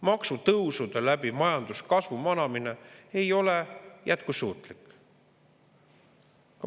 Maksutõusude läbi majanduskasvu manamine ei ole jätkusuutlik.